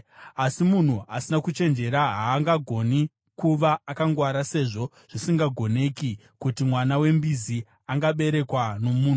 Asi munhu asina kuchenjera haangagoni kuva akangwara sezvo zvisingagoneki kuti mwana wembizi angaberekwa nomunhu.